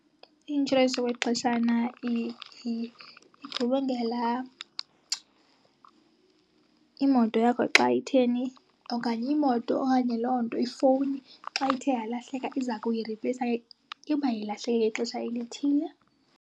I-inshorensi yokwexeshana igubungela imoto yakho. Xa itheni? Okanye imoto okanye loo nto, ifowuni xa ithe yalahleka iza kuyiripleyisa uba ilahleke ngexesha elithile.